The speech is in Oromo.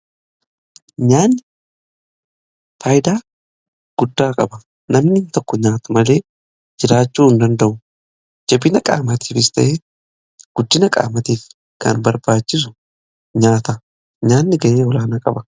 Nyaanni faaydaa guddaa qaba namni tokko nyaata malee jiraachuu hin danda'u. Jabina qaamatiifis ta'ee guddina qaamatiif kan barbaachisu nyaata nyaanni gahee olaanaa qaba.